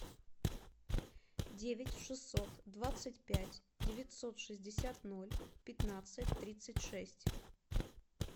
девять шестьсот двадцать пять девятьсот шестьдесят ноль пятнадцать тридцать шесть